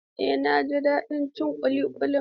Eh, na ji daɗin cin ƙuli ƙulin.